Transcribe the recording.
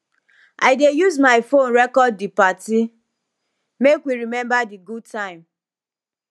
i dey use my phone record di party make we remember di good time